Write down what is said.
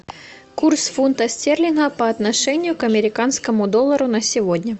курс фунта стерлинга по отношению к американскому доллару на сегодня